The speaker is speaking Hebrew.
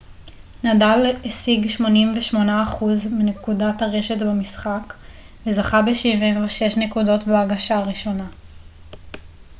נדאל השיג 88 אחוז מנקודות הרשת במשחק וזכה ב-76 נקודות בהגשה הראשונה